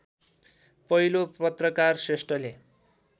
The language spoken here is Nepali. पहिलो पत्रकार श्रेष्ठले